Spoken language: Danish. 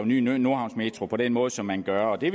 ny nordhavnsmetro på den måde som man gør det